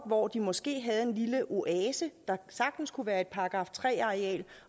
hvor de måske havde en lille oase der sagtens kunne være et § tre areal